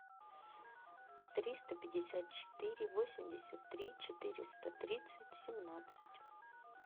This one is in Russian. триста пятьдесят четыре восемьдесят три четыреста тридцать семнадцать